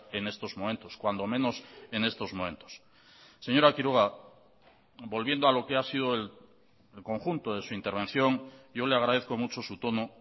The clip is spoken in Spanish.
en estos momentos cuando menos en estos momentos señora quiroga volviendo a lo que ha sido el conjunto de su intervención yo le agradezco mucho su tono